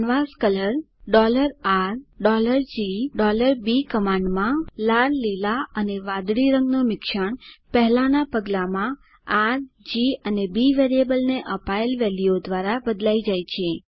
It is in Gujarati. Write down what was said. કેન્વાસ્કોલર RG એન્ડ B કમાંડમાં લાલ લીલા વાદળી રંગનું મિશ્રણ પહેલાંના પગલાંમાં આર જી અને બી વેરિયેબલને અપાયેલ વેલ્યુઓ દ્વારા બદલાઈ જાય છે